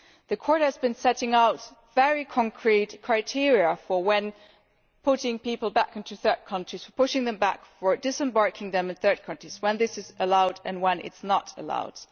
The Court has been setting out very concrete criteria for when putting people back into third countries, pushing them back or disembarking them in third countries is allowed and when it is not allowed.